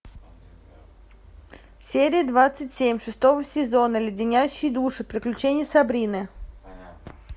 серия двадцать семь шестого сезона леденящие души приключения сабрины